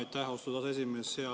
Aitäh, austatud aseesimees!